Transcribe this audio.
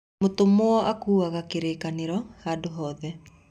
Mũtũmwo akuaga kĩrĩkanĩro handũ hothe.